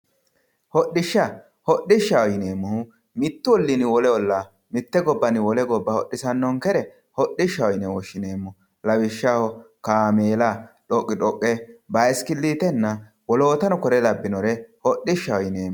Hodhishsha, hodhishshaho yineemmohu mitu ollini wole olla mite gobbanni wole gobba hodhisanonkere hodhishshaho yine woshshineemmo lawishshaho kaameella dhoqi dhoqe bayisikilitenna woloottano kore labbinore hodhishshaho yineemmo.